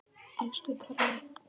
Elsku Kalli.